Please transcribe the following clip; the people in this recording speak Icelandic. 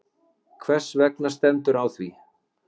Hvers vegna stendur á því?